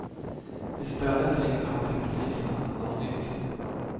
I stället ringde han till polisen, anonymt.